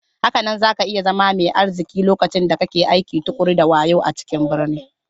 Hakanan zaka iya zama mai arziki lokacin da kake aiki tuƙuru da wayo a cikin birni.